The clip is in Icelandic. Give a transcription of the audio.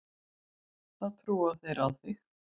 Þá trúa þeir á þig.